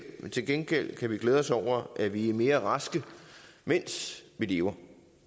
til gengæld kan vi glæde os over at vi er mere raske mens vi lever